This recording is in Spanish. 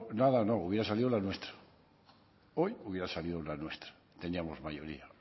nada no hubiera salido la nuestra hoy hubiera salido la nuestra teníamos mayoría